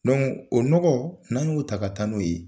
o n nɔgɔ n'an y'o ta ka taa n'o ye